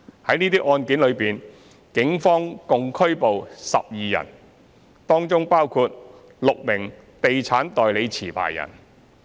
在這些案件中，警方共拘捕12人，當中包括6名地產代理持牌人。